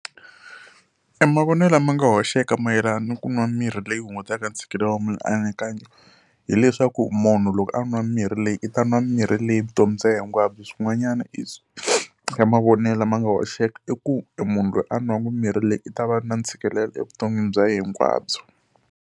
Emavonelo lama nga hoxeka mayelana ku nwa mirhi leyi hungutaka ntshikelelo wa mianakanyo, hileswaku munhu loko a nwa mirhi leyi i ta nwa mirhi leyi vutomi bya yena hinkwabyo. Swin'wanyana mavonelo ma nga hoxeka i ku munhu loyi a nwaka mirhi leyi i ta va na ntshikelelo evuton'wini bya yena hinkwabyo.